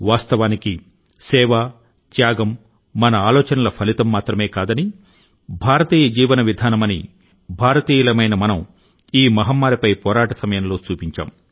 వాస్తవానికి సేవ త్యాగం మన ఆలోచనల ఫలితం మాత్రమే కాదని భారతీయ జీవన విధానమని భారతీయులమైన మనం ఈ మహమ్మారి పై పోరాట సమయంలో చూపించాం